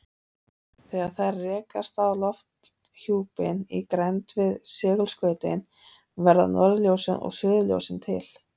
Þegar þær rekast á lofthjúpinn í grennd við segulskautin verða norðurljósin og suðurljósin til.